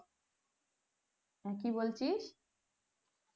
হ্যাঁ কি বলছিস